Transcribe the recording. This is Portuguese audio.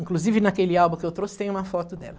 Inclusive naquele álbum que eu trouxe tem uma foto dela.